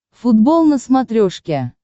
футбол на смотрешке